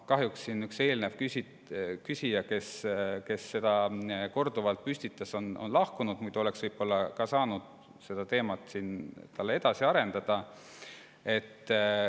Kahjuks üks küsija, kes enne selle teema korduvalt püstitas, on saalist lahkunud, muidu oleks võib-olla saanud siin seda tema jaoks edasi arendada.